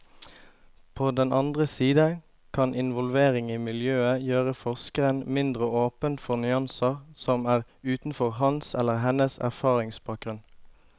På den andre side kan involvering i miljøet gjøre forskeren mindre åpen for nyanser som er utenfor hans eller hennes erfaringsbakgrunn.